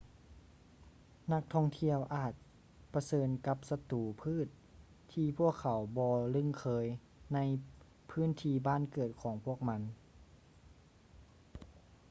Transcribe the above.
ນັກທ່ອງທ່ຽວອາດປະເຊີນກັບສັດຕູພືດທີ່ພວກເຂົາບໍ່ລຶ້ງເຄີຍໃນພື້ນທີ່ບ້ານເກີດຂອງພວກມັນ